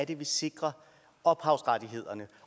vi sikrer ophavsrettighederne